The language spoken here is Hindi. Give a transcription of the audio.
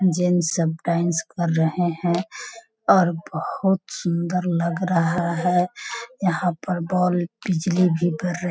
जेंट्स सब डांस कर रहे है और बहुत सुंदर लग रहा है यहां पर बोल बिजली भी --